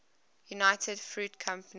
united fruit company